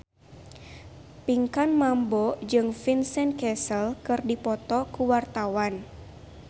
Pinkan Mambo jeung Vincent Cassel keur dipoto ku wartawan